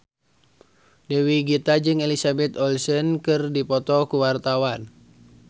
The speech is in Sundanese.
Dewi Gita jeung Elizabeth Olsen keur dipoto ku wartawan